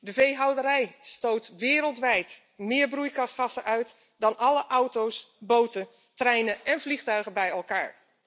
De veehouderij stoot wereldwijd meer broeikasgassen uit dan alle auto's, boten, treinen en vliegtuigen bij elkaar!